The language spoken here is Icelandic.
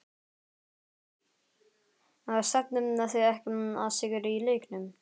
Stefnið þið ekki að sigri í leiknum?